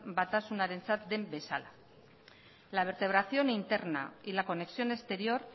batasunarentzat den bezala la vertebración interna y la conexión exterior